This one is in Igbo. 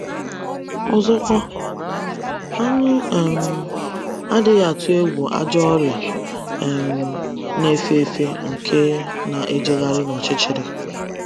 Ọzọkwa, anyị um adịghị atụ egwu “ ajọ ọrịa um na - efe efe nke na - ejegharị n’ọchịchịrị. ”